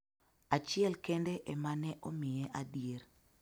achiel kende ema ne omiye adier,